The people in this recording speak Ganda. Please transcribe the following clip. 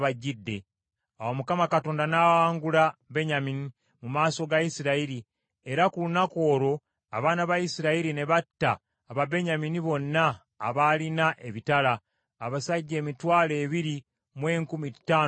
Awo Mukama Katonda n’awangula Benyamini mu maaso ga Isirayiri, era ku lunaku olwo abaana ba Isirayiri ne batta Ababenyamini bonna abaalina ebitala, abasajja emitwalo ebiri mu enkumi ttaano mu kikumi.